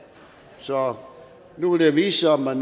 så nu vil det vise sig om man